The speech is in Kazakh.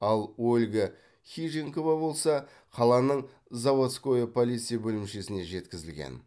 ал ольга хижинкова болса қаланың заводское полиция бөлімшесіне жеткізілген